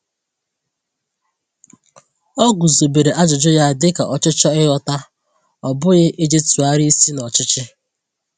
O guzobere ajụjụ ya dị ka ọchịchọ ịghọta, ọ bụghị iji tụgharị isi na ọchịchị.